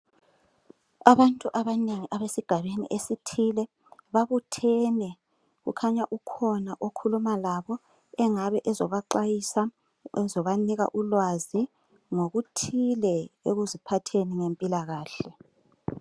Abantu abanengi abesigabeni esithile babuthene kukhanya ukhona okhuluma labo engabe ezobaxwayisa, ezobanika ulwazi ngokuthile ekuziphatheni ngempilakahle.